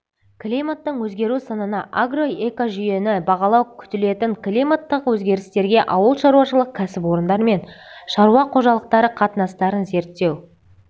климаттың өзгеру сынына агроэкожүйені бағалау күтілетін климаттық өзгерістерге ауыл шаруашылық кәсіпорындар мен шаруа қожалықтары қатынастарын зерттеу